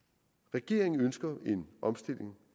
regeringen ønsker en omstilling